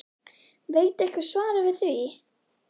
Veit einhver svarið við því???????